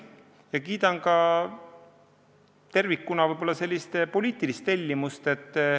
Ma kiidan ka tervikuna sellist poliitilist tellimust.